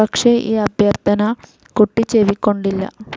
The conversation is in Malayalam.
പക്ഷേ ഈ അഭ്യർത്ഥന കുട്ടി ചെവിക്കൊണ്ടില്ല.